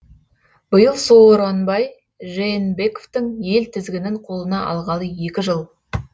биыл сооронбай жээнбековтің ел тізгінін қолына алғалы екі жыл